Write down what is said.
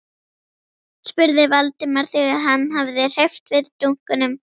spurði Valdimar þegar hann hafði hreyft við dunkunum.